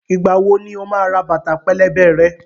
Ìgbà wo ni o máa ra bàtà pẹlẹbẹ rẹ?